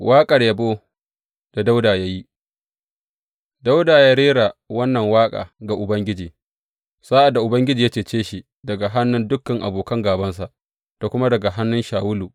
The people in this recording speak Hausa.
Waƙar yabo da Dawuda ya yi Dawuda ya rera wannan waƙa ga Ubangiji, sa’ad da Ubangiji ya cece shi daga hannun dukan abokan gābansa, da kuma daga hannun Shawulu.